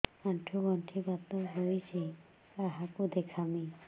ଆଣ୍ଠୁ ଗଣ୍ଠି ବାତ ହେଇଚି କାହାକୁ ଦେଖାମି